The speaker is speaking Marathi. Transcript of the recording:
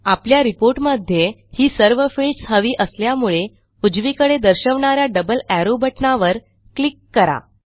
आपल्या रिपोर्ट मध्ये ही सर्व फील्ड्स हवी असल्यामुळे उजवीकडे दर्शवणा या डबल एरो बटणावर क्लिक करा